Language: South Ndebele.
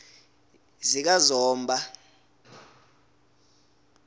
zikazomba